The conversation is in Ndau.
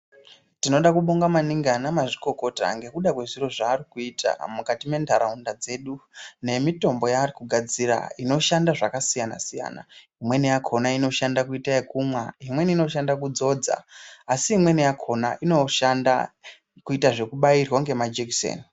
Tinoda kubonga maningi ana mazvikokota ngekuda kwezviro zvaari kuita mukati mentaraunda dzedu, nemitombo yaari kugadzira inoshanda zvakasiyana-siyana. Imweni yakhona inoshanda kuita ekumwa, imweni inoshanda kudzodza asi imweni yakhona inoshanda kuita zvekubairwa ngemajekiseni.